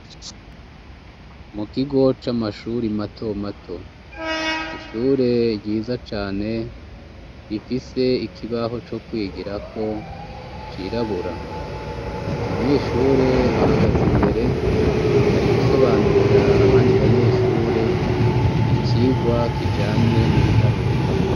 Mu kigo c'amashure mato mato. Ishure ryiza cane rifise ikibaho co kwigirako cirabura. Umunyeshure ahagaze imbere ari gusobanurira abandi banyeshure icigwa kijanye n'ibiharuro.